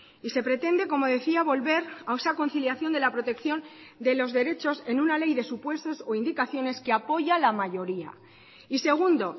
y se pretende como decía volver a esa conciliación de la protección de los derechos en una ley de supuestos o indicaciones que apoya la mayoría y segundo